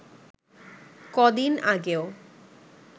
কদিন আগেও